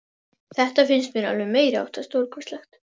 Þetta finnst mér alveg meiriháttar stórkostlegt.